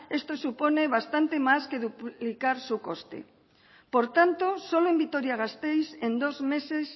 esto supone bastante más que duplicar su coste por tanto solo en vitoria gasteiz en dos meses